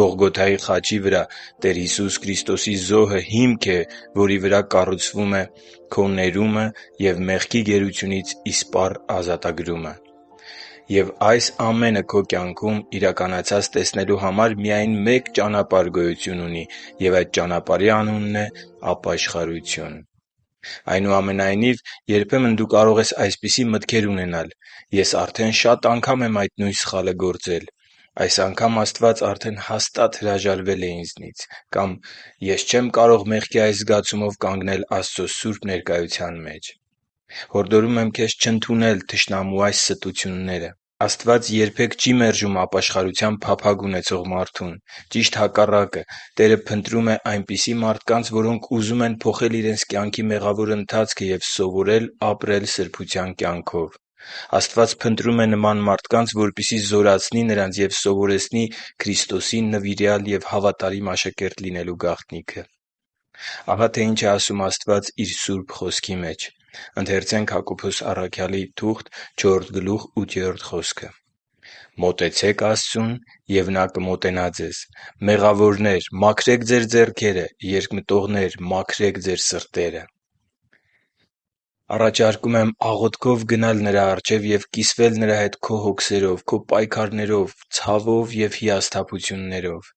Գողգոթայի խաչի վրա Տեր Հիսուս Քրիստոսի զոհը հիմք է, որի վրա Տերը կառուցում է քո ներումը և մեղքի գերությունից իսպառ ազատագրումը։ Եվ այս ամենը քո կյանքում իրականացած տեսնելու համար միայն մեկ ճանապարհ գոյություն ունի։ Եվ այդ ճանապարհի անունն է ԱՊԱՇԽԱՐՈՒԹՅՈՒՆ։ Այնուամենայնիվ, երբեմն դու կարող ես այսպիսի մտքեր ունենալ. «Ես արդեն շատ անգամ եմ այդ նույն սխալը գործել», «Այս անգամ Աստված արդեն հաստատ հրաժարվել է ինձնից» կամ «Ես չեմ կարող մեղքի այս զգացումով կանգնել Աստծո սուրբ ներկայության մեջ»: Մի՛ ընդունիր թշնամու այս ստությունները։ Աստված երբե՛ք չի մերժում ապաշխարության փափագ ունեցող մարդուն։ Ճիշտ հակառակը․ Տերը փնտրում է այնպիսի մարդկանց, որոնք ուզում են փոխել իրենց կյանքի մեղավոր ընթացքը և սովորել ապրել սրբության կյանքով։ Աստված փնտրում է նման մարդկանց, որպեսզի զորացնի Նրանց և սովորեցնի Քրիստոսի նվիրյալ և հավատարիմ աշակերտ լինելու գաղտնիքները։ Ահա, թե ինչ է ասում Աստված Իր Սուրբ Խոսքի մեջ․ «Մոտեցե՛ք Աստծուն, և Նա կմոտենա ձեզ։ Մեղավորնե՛ր, մաքրե՛ք ձեր ձեռքերը, երկմտողնե՛ր, մաքրե՛ք ձեր սրտերը» (Հակոբոս 4.8)։ Աղոթքով գնա՛ Նրա առջև և կիսվի՛ր Նրա հետ քո հոգսերով, քո պայքարներով, ցավով և հիասթափություններով...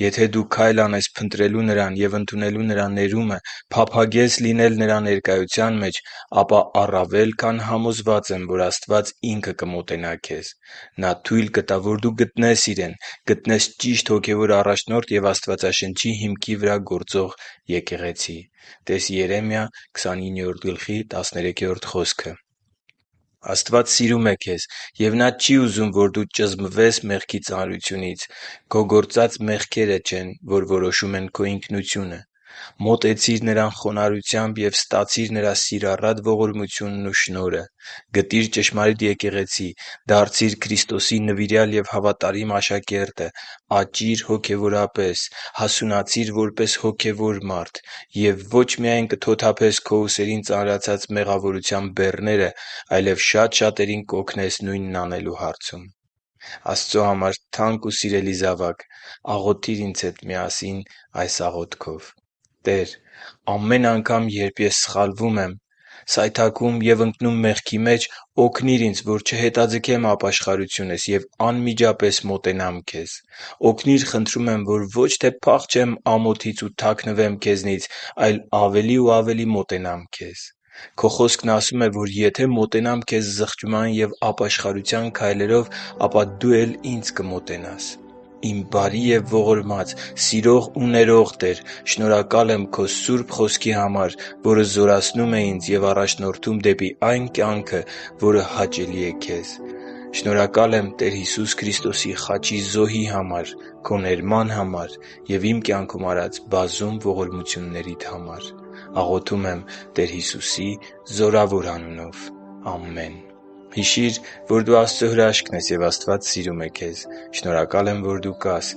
Եթե դու քայլ անես փնտրելու Նրան և ընդունելու Նրա ներումը, փափագես լինել Նրա ներկայության մեջ, ապա առավել քան համոզված եմ, որ Աստված Ինքը կմոտենա քեզ: Նա թույլ կտա, որ դու գտնես Իրեն, գտնես ճիշտ հոգևոր առաջնորդ և Աստվածաշնչի հիմքի վրա գործող եկեղեցի։ (տե՛ս Երեմիա 29.13 խոսքը)։ Աստված սիրում է քեզ, և Նա չի ուզում, որ դու ճզմվես մեղքի ծանրությունից: Քո գործած մեղքերը չեն որոշում քո ինքնությունը։ Մոտեցի՛ր Նրան խոնարհությամբ և ստացի՛ր Նրա սիրառատ ողորմությունն ու շնորհը: Գտի՛ր ճշմարիտ եկեղեցի։ Դարձի՛ր Քրիստոսի նվիրյալ և հավատարիմ աշակերտը։ Աճի՛ր հոգևորապես։ Հասունացի՛ր որպես հոգևոր մարդ։ Եվ ո՛չ միայն կթոթափես քո ուսերին ծանրացած մեղավորության բեռները, այլև շատ շատերին կօգնես նույնն անելու հարցում։ Աստծո համար թանկ ու սիրելի՛ զավակ, աղոթի՛ր ինձ հետ միասին այս աղոթքով․ «Տե՛ր, ամեն անգամ, երբ ես սխալվում եմ, սայթաքում և ընկնում մեղքի մեջ, օգնի՛ր ինձ, որ չհետաձգեմ ապաշխարությունս և անմիջապես մոտենամ Քեզ։ Օգնի՛ր, խնդրում եմ, որ ոչ թե փախչեմ ամոթից ու թաքնվեմ Քեզնից, այլ ավելի ու ավելի մոտենամ Քեզ։ Քո Խոսքն ասում է, որ եթե մոտենամ Քեզ զղջման և ապաշխարության քայլերով, ապա Դու էլ ինձ կմոտենաս: Իմ բարի և ողորմած, սիրող ու ներող Տե՛ր, շնորհակալ եմ Քո Սուրբ Խոսքի համար, որը զորացնում է ինձ և առաջնորդում դեպի այն կյանքը, որը հաճելի է Քեզ: Շնորհակալ եմ Տեր Հիսուս Քրիստոսի խաչի զոհի համար, Քո ներման համար և իմ կյանքում արած բազում ողորմություններիդ համար: Աղոթում եմ Տեր Հիսուսի զորավոր անունով։ Ամե՛ն»: Հիշի՛ր, որ դու Աստծո հրաշքն ես, և Աստված սիրում է քեզ։ Շնորհակալ եմ, որ դու կա՛ս